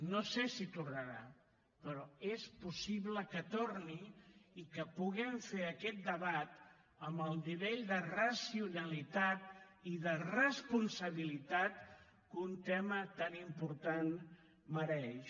no sé si tornarà però és possible que torni i que puguem fer aquest debat amb el nivell de racionalitat i de responsabilitat que un tema tan important mereix